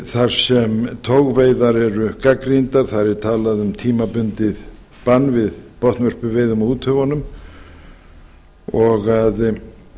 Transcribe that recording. þar sem togveiðar eru gagnrýndar þar er talað um tímabundið bann við botnvörpuveiðum á